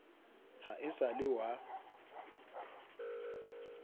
ha e sa le wa